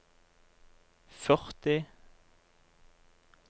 førti